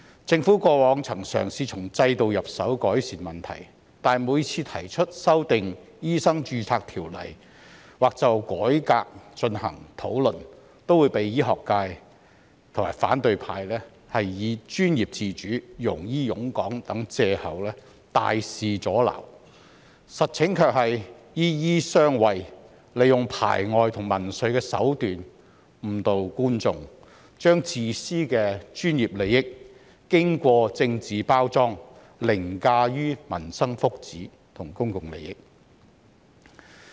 政府過往曾嘗試從制度入手改善問題，但每次提出修訂《醫生註冊條例》，或就改革進行討論，都會被醫學界及反對派以"專業自主"、"庸醫湧港"等藉口，大肆阻撓，實情卻是"醫醫相衞"，利用排外和民粹的手段誤導觀眾，將自私的專業利益，經過政治包裝，凌駕於民生福祉和公共利益。